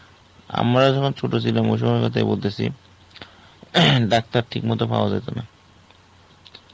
আমরা যখন ছোট ছিলাম ওই সময় এর কথাই বলতেছি, Doctor ঠিক মতো পাওয়া যেত না